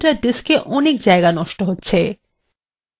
যার জন্য কম্পিউটারের diskএ অনেক জায়গা নষ্ট হচ্ছে